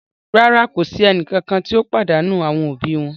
Rara, ko si ẹnikan ti o padanu awọn obi wọn